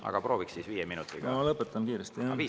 Aga prooviks siis 5 minutiga.